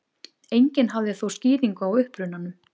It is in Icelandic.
Enginn hafði þó skýringu á upprunanum.